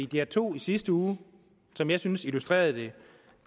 dr2 i sidste uge som jeg synes illustrerede det